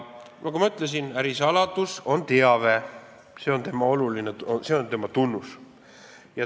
Nagu ma ütlesin, ärisaladus on teave, see on tema tunnus.